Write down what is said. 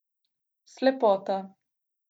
Slepota.